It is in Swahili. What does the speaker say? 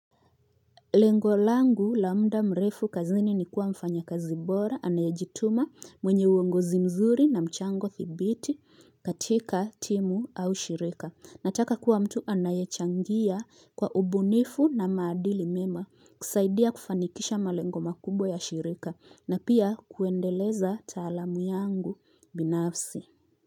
Lengo langu la muda mrefu kazini ni kuwa mfanyikazi bora anayejituma mwenye uongozi mzuri na mchango dhibiti katika timu au shirika. Nataka kuwa mtu anayechangia kwa ubunifu na maadili mema kusaidia kufanikisha malengo makubwa ya shirika na pia kuendeleza taalamu yangu binafsi.